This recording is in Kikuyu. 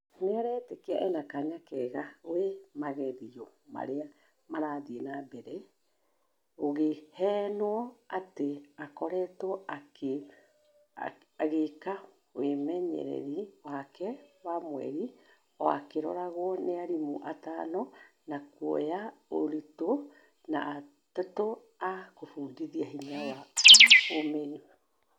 Nĩareetekia ena kanya kega gwe magerio maria marathie na mbere , gũgĩhenwo atĩ akoretwo agĩka wĩmenyereri wake wa mwerĩ o akĩroragwo nĩ arimũ atano a kuoya ũritũ na atatũ a kũfundithia hinya na ũmĩrĩru